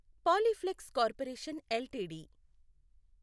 Polyplex corporation LTD